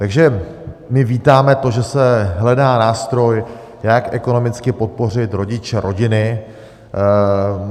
Takže my vítáme to, že se hledá nástroj, jak ekonomicky podpořit rodiče, rodiny.